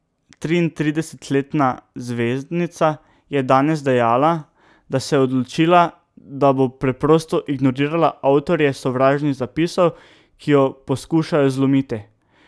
Triintridesetletna zvezdnica je danes dejala, da se je odločila, da bo preprosto ignorirala avtorje sovražnih zapisov, ki jo poskušajo zlomiti.